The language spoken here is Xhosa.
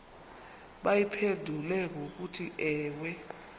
bayiphendule ngokuthi ewe